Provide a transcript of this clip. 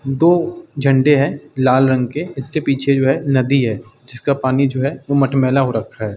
दो झंडे हैं लाल रंग के। इसके पीछे जो है नदी है जिसका पानी जो है वो मटमैला हो रखा है।